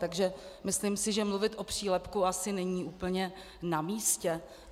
Takže si myslím, že mluvit o přílepku asi není úplně na místě.